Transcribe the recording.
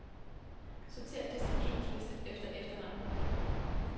Sortér distributionsliste efter efternavn.